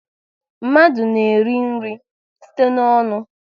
Mmadụ na-eri nri site n'ọnụ